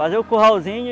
Fazia o curralzinho.